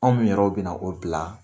Anw min yɛrɛ bɛna na o bila.